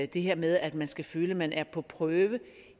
det her med at man skal føle at man er på prøve